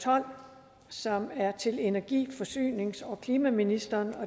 tolv som er til energi forsynings og klimaministeren